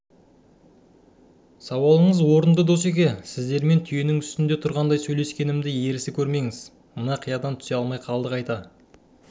сауалыңыз орыңды досеке сіздермен түйенің үстінде тұрғандай сөйлескенімді ерсі көрмеңіз мына қиядан түсе алмай қалдық айта